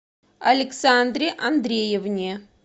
александре андреевне